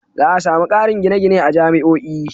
Za a sami ƙarin gine-gine a jami'o'i.